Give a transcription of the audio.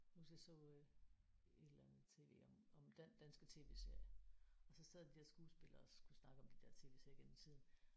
Jeg kan huske jeg så øh et eller andet TV om om danske TV-serier og så sad de der skuespillere og skulle snakke om de der TV-serier igennem tiden